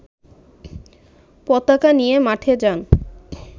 পতাকা নিয়ে মাঠে যান